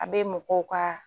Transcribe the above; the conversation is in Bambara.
A bɛ mɔgɔw ka